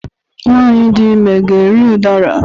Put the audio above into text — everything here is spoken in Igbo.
Nwanyị dị ime ga-eri udara?